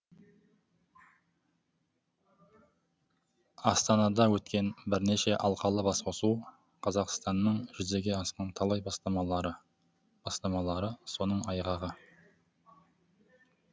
астанада өткен бірнеше алқалы басқосу қазақстанның жүзеге асқан талай бастамалары соның айғағы